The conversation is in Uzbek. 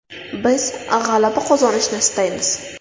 Biz g‘alaba qozonishni istaymiz.